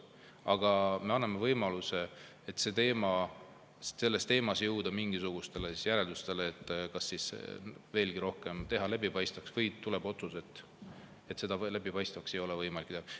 Aga me anname võimaluse selles teemas jõuda mingisugustele järeldustele, kas teha protsess rohkem läbipaistvaks või tuleb otsus, et seda läbipaistvaks ei ole võimalik teha.